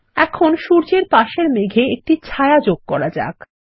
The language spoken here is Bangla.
এখন সূর্যের পাশের মেঘ এ একটি ছায়া যোগ করা যাক